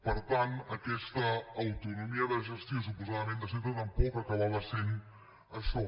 per tant aquesta autonomia de gestió suposadament de centre tampoc acabava sent això